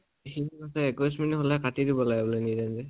সি মানে কৈছে minute হলে কাটি দিব লাগে